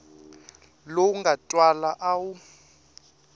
lowu nga twala a wu